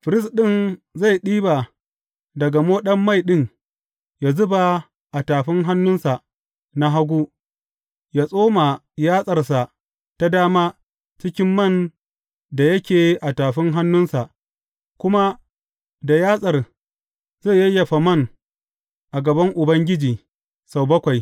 Firist ɗin zai ɗiba daga moɗan mai ɗin ya zuba a tafin hannunsa na hagu, ya tsoma yatsarsa ta dama cikin man da yake a tafin hannunsa, kuma da yatsar zai yayyafa man a gaban Ubangiji sau bakwai.